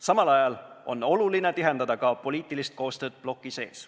Samal ajal on oluline tihendada ka poliitilist koostööd bloki sees.